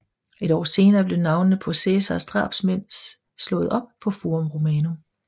Et år senere blev navnene på Cæsars drabsmænd slået op på Forum Romanum